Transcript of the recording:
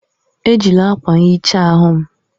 Ejila akwa nhicha ahụ m!